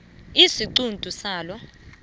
isiquntu salo